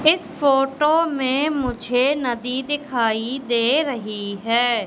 इस फोटो में मुझे नदी दिखाई दे रही है।